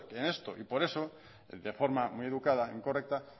en esto y por eso de forma muy educada y correcta